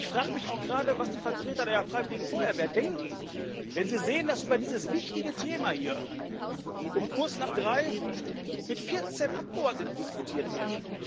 Ich frage mich auch gerade, was die Vertreter der freiwilligen Feuerwehr denken, wenn sie sehen, dass über dieses wichtige Thema hier um kurz nach drei mit vierzehn Abgeordneten diskutiert wird.